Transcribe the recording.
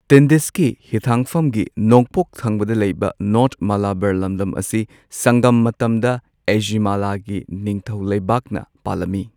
ꯇꯤꯟꯗꯤꯁꯀꯤ ꯍꯤꯊꯥꯡꯐꯝꯒꯤ ꯅꯣꯡꯄꯣꯛ ꯊꯪꯕꯗ ꯂꯩꯕ ꯅꯣꯔ꯭ꯊ ꯃꯥꯂꯥꯕꯥꯔ ꯂꯝꯗꯝ ꯑꯁꯤ ꯁꯪꯒꯝ ꯃꯇꯝꯗ ꯑꯦꯖꯤꯃꯥꯂꯥꯒꯤ ꯅꯤꯡꯊꯧ ꯂꯩꯕꯥꯛꯅ ꯄꯥꯜꯂꯝꯃꯤ꯫